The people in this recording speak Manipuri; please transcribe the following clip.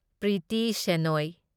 ꯄ꯭ꯔꯤꯇꯤ ꯁꯦꯅꯣꯢ